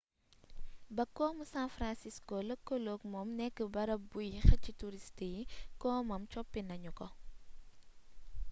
ba komu san francisco lëkkaloog moom nekk bërëb buy xëcc turist yi komam coppi nanu ko